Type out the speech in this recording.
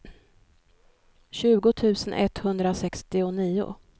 tjugo tusen etthundrasextionio